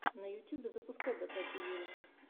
на ютьюбе запускай дотативиру